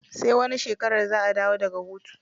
Sai wani shekarar za a dawo daga hutu.